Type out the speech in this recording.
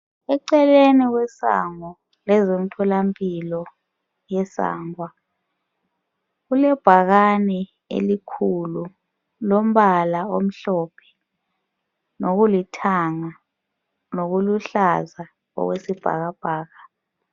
Eceleni kwesango lezemtholampilo yeSangwa kulebhakani elikhulu lombala omhlophe lokulithanga lokuluhlaza okwesibhakabhaka